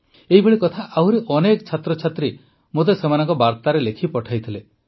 ଏହିଭଳି କଥା ଆହୁରି ଅନେକ ଛାତ୍ରଛାତ୍ରୀ ମୋତେ ସେମାନଙ୍କ ବାର୍ତ୍ତାରେ ଲେଖି ପଠାଇଥିଲେ